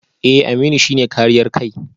Eh Aminu shi ne kariyar kai